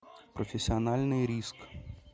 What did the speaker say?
профессиональный риск